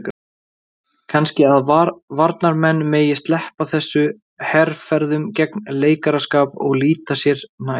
Kannski að varnarmenn megi sleppa þessum herferðum gegn leikaraskap og líta sér nær?